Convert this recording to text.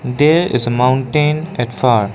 there is a mountain at far.